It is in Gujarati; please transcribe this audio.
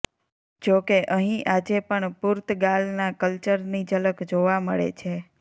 જો કે અહી આજે પણ પુર્તગાલનાં કલ્ચરની જલક જોવા મળે છે